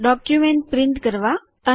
document print કરવા એટલે કે છાપવા